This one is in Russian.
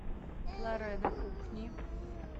лорена кухни